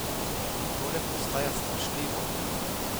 Tole postaja strašljivo.